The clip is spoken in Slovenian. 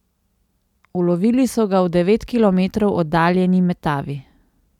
Ulovili so ga v devet kilometrov oddaljeni Metavi.